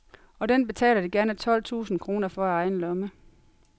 Og den betaler de gerne tolv tusind kroner for af egen lomme.